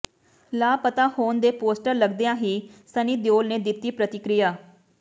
ਲਾਪਤਾ ਹੋਣ ਦੇ ਪੋਸਟਰ ਲਗਦਿਆਂ ਹੀ ਸੰਨੀ ਦਿਓਲ ਨੇ ਦਿੱਤੀ ਪ੍ਰਤੀਕਿਰਿਆ